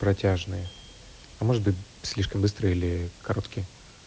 протяжные а может быть слишком быстро или короткие